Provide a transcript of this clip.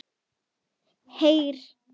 Heyr!